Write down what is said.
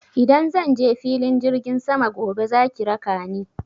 Idan zan je filin jirgin sama gobe za ki raka ni.